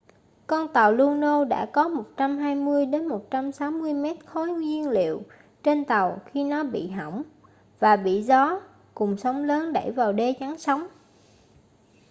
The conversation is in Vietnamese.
con tàu luno đã có 120 - 160 mét khối nhiên liệu trên tàu khi nó bị hỏng và bị gió cùng sóng lớn đẩy vào đê chắn sóng